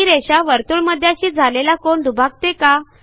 ही रेषा वर्तुळमध्याशी झालेला कोन दुभागते का